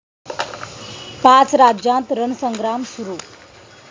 पाच राज्यांत रणसंग्राम सुरू